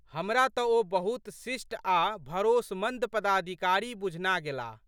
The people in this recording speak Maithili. हमरा तऽ ओ बहुत शिष्ट आ भरोसमंद पदाधिकारी बुझना गेलाह।